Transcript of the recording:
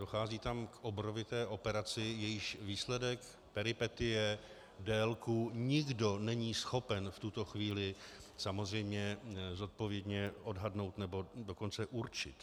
Dochází tam k obrovité operaci, jejíž výsledek, peripetie, délku nikdo není schopen v tuto chvíli samozřejmě zodpovědně odhadnout, nebo dokonce určit.